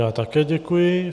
Já také děkuji.